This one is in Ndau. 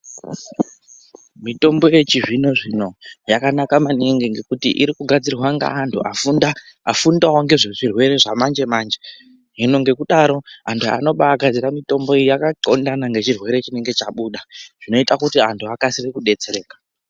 Mitombo yechi zvino zvino yakanaka maningi ngekuti iri kugadzirwa nge antu afundawo ngezve zvirwere zva manje manje hino ngekudaro antu anobai gadzira mitombo iyi yaka ndxondana nge chirwere chinenge chabuda zvinoita kuti antu akasire kudetsereka.